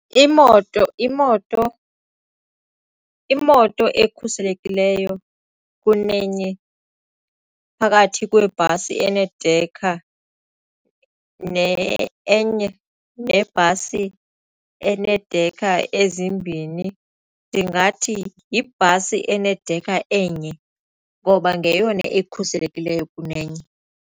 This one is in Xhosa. Imoto, imoto, imoto ekhuselekileyo kunenye phakathi kwebhasi enedekha enye nebhasi eneedekha ezimbini ndingathi yibhasi enedekha enye ngoba ngeyona ekhuselekileyo kunenye.